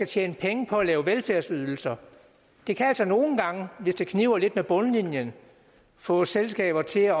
tjene penge på at lave velfærdsydelser kan altså nogle gange hvis det kniber lidt med bundlinjen få selskaber til at